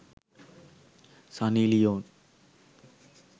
sunny leon